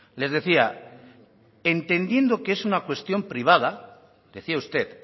les decía entendiendo que es una cuestión privada decía usted